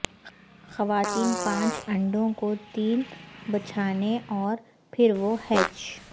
خواتین پانچ انڈوں کو تین بچھانے اور پھر وہ ہیچ